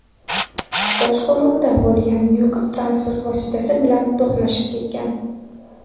boshqaruvida bo‘lgan yuk transport vositasi bilan to‘qnashib ketgan.